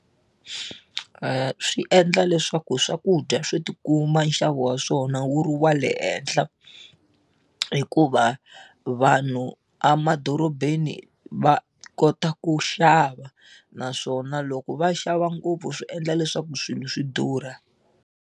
Swi endla leswaku swakudya swo ti kuma nxavo wa swona wu ri wa le henhla hikuva vanhu emadorobeni va kota ku xava naswona loko va xava ngopfu swi endla leswaku swilo swi durha.